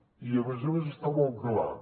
i a més a més està molt clar